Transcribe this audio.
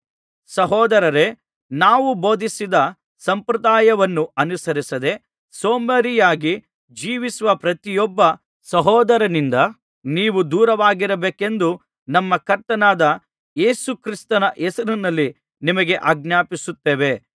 ಸಹೋದರರೇ ನಾವು ಬೋಧಿಸಿದ ಸಂಪ್ರದಾಯವನ್ನು ಅನುಸರಿಸದೆ ಸೋಮಾರಿಯಾಗಿ ಜೀವಿಸುವ ಪ್ರತಿಯೊಬ್ಬ ಸಹೋದರನಿಂದ ನೀವು ದೂರವಾಗಿರಬೇಕೆಂದು ನಮ್ಮ ಕರ್ತನಾದ ಯೇಸು ಕ್ರಿಸ್ತನ ಹೆಸರಿನಲ್ಲಿ ನಿಮಗೆ ಆಜ್ಞಾಪಿಸುತ್ತೇವೆ